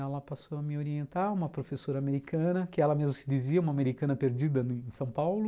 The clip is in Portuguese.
Ela passou a me orientar, uma professora americana, que ela mesma se dizia uma americana perdida em São Paulo.